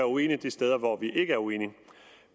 uenig de steder hvor vi ikke er uenige